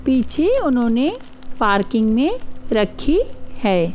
पीछे उन्होंने पार्किंग में रखी है।